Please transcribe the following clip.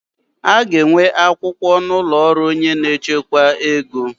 A ga-enwe akwụkwọ n'ụlọ ọrụ onye n'echekwa ego?